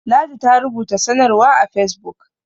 ladi ta rubuta sanarwa a fesbuk